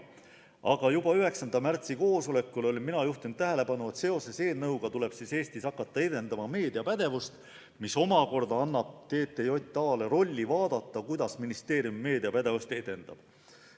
Aga juba 9. märtsi koosolekul olin mina juhtinud tähelepanu sellele, et seoses eelnõuga tuleb Eestis hakata edendama meediapädevust, mis omakorda annab TTJA-le rolli vaadata, kuidas ministeerium meediapädevust edendab.